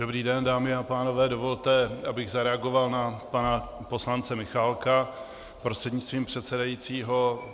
Dobrý den, dámy a pánové, dovolte, abych zareagoval na pana poslance Michálka prostřednictvím předsedajícího.